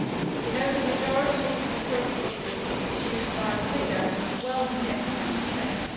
We know the majority of the current funding is used by the bigger, wealthier, Member States.